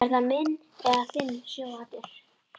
Er það minn eða þinn sjóhattur?